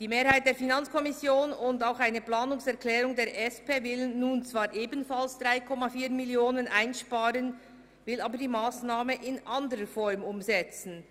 Die Mehrheit der FiKo und auch eine Planungserklärung der SP will nun ebenfalls 3,4 Mio. Franken einsparen, aber die Massnahme in anderer Form umsetzen.